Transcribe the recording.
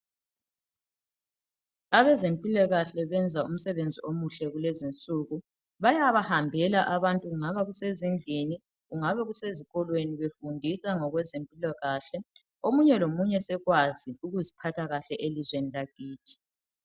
Abezempilakahle benza umsebenzi omuhle kulezinsuku bayabahambela abantu kungaba kusezindlini kumbe kungabe kusezikolweni befundisa ngezempilakahle omunye lomunye sekwazi ukuziphatha kuhle elizweni lakithi.